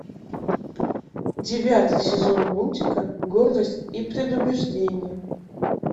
девятый сезон мультика гордость и предубеждение